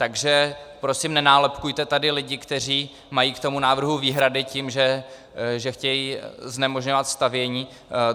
Takže prosím nenálepkujte tady lidi, kteří mají k tomu návrhu výhrady, tím, že chtějí znemožňovat stavění.